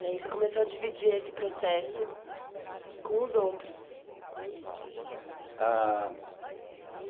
E aí você começou a dividir esse processo com os outros.